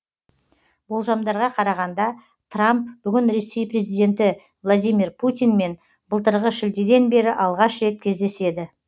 болжамдарға қарағанда трамп бүгін ресей президенті владимир путинмен былтырғы шілдеден бері алғаш рет кездеседі